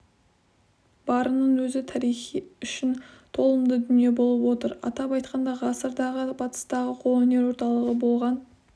барының өзі тарих үшін толымды дүние болып отыр атап айтқанда ғасырдағы батыстағы қолөнер орталығы болған